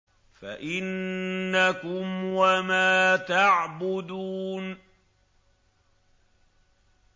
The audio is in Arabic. فَإِنَّكُمْ وَمَا تَعْبُدُونَ